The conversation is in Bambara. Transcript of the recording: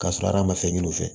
Ka sɔrɔ hal'an ma fɛn ɲini u fɛ